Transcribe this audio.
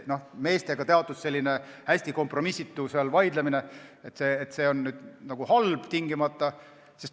Meeste selline hästi kompromissitu vaidlemine ei ole tingimata halb.